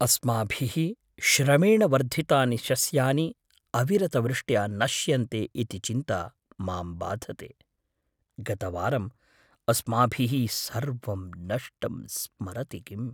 अस्माभिः श्रमेण वर्धितानि शस्यानि अविरतवृष्ट्या नश्यन्ते इति चिन्ता माम् बाधते। गतवारं अस्माभिः सर्वं नष्टं स्मरति किम्?